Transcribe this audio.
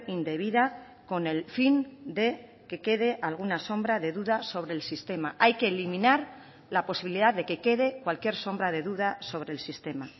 indebida con el fin de que quede alguna sombra de duda sobre el sistema hay que eliminar la posibilidad de que quede cualquier sombra de duda sobre el sistema